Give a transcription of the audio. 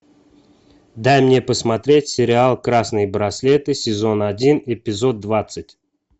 дай мне посмотреть сериал красные браслеты сезон один эпизод двадцать